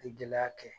Ni gɛlɛya kɛ